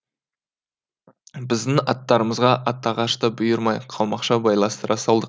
біздің аттарымызға атағаш та бұйырмай қалмақша байластыра салдық